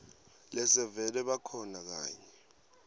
lesevele bakhona kanye